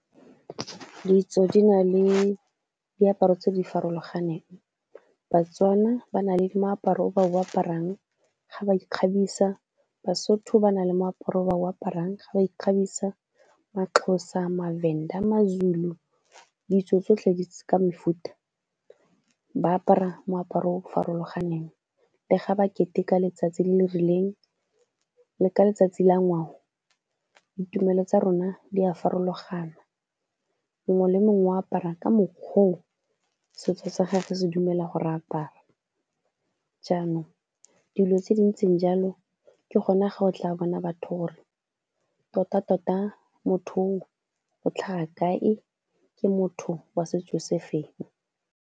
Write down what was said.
Ditso di na le diaparo tse di farologaneng, Batswana ba na le moaparo o ba o ba aparang ga ba ikgabisa, Basotho ba na le moaparo o ba o aparang ga ba ikgabisa. MaXhosa, maVenda, maZulu, ditso tsotlhe di ka mefuta ba apara moaparo o farologaneng le ga ba keteka letsatsi le le rileng le ka letsatsi la ngwao, ditumelo tsa rona di a farologana mongwe le mongwe o apara ka mokgwa o setso sa gagwe se dumela gore a apare, jaanong dilo tse dintseng jalo ke gone ga o tla bona batho gore totatota motho o o tlhaga kae ke motho wa setso se feng.